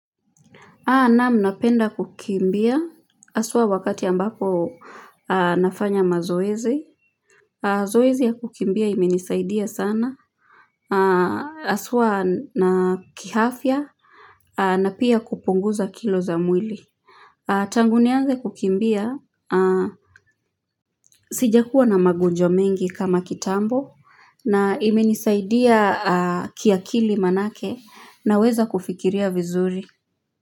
Naam, napenda kukimbia, haswa wakati ambapo nafanya mazoezi. Zoezi ya kukimbia imenisaidia sana, haswa na kiafya, na pia kupunguza kilo za mwili. Tangu nianze kukimbia, sijakuwa na magonjwa mengi kama kitambo, na imenisaidia kiakili maanake, naweza kufikiria vizuri.